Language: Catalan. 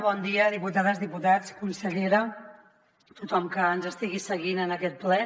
bon dia diputades diputats consellera tothom que ens estigui seguint en aquest ple